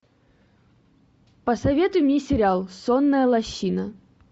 посоветуй мне сериал сонная лощина